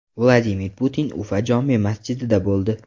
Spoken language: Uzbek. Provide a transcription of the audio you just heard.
Vladimir Putin Ufa jome masjidida bo‘ldi.